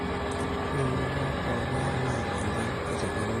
ore eunoto oo ilpaek naa enchan eitegemea